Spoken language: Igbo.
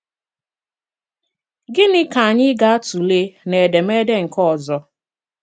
Gịnị̀ ka anyị̀ ga-̀tụ̀leè n’édémédé nke òzọ̀?